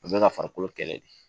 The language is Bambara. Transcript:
O bɛ ka farikolo kɛlɛ de